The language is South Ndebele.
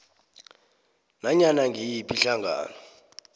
nanyana ngiyiphi ihlangano